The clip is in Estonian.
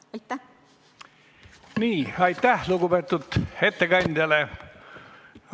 Aitäh lugupeetud ettekandjale!